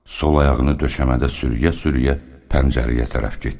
Sol ayağını döşəmədə sürüyə-sürüyə pəncərəyə tərəf getdi.